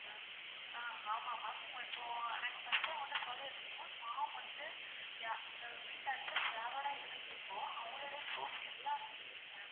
ஆஹ் ஆமா ma'am இப்போ first ஏ உங்ககிட்ட சொல்லிருந்தன் form வந்து வீட்டு address யாரோட இதுல இருக்கோ அவங்களுடைய proof எல்லாமே எங்களுக்கு வேணும்.